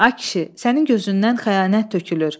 A kişi, sənin gözündən xəyanət tökülür.